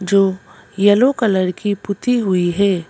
जो yellow colour की पुती हुई है।